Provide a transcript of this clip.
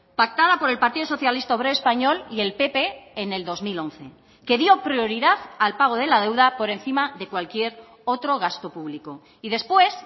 pactada por el partido socialista obrero español y el pp en el dos mil once que dio prioridad al pago de la deuda por encima de cualquier otro gasto público y después